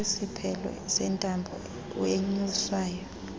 kwesiphelo sentambo enyuswayo